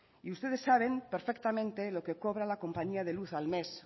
y ustedes saben perfectamente lo que cobra la compañía de luz al mes